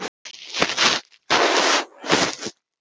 Þú sérð mína kosti.